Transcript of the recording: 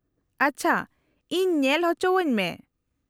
-ᱟᱪᱪᱷᱟ, ᱤᱧ ᱧᱮᱞ ᱚᱪᱚᱣᱚᱧ ᱢᱮ ᱾